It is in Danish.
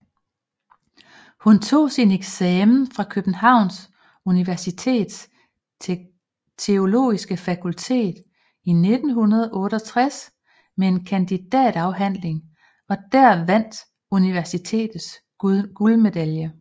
Hun tog sin eksamen fra Københavns Universitets Teologiske Fakultet i 1968 med et kandidatafhandling der vandt universitets guldmedalje